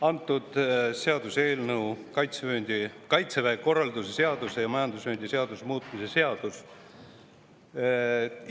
Antud seaduseelnõu on Kaitseväe korralduse seaduse ja majandusvööndi seaduse.